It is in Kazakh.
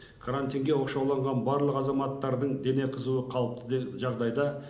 карантинге оқшауланған барлық азаматтардың дене қызуы қалыпты де жағдайда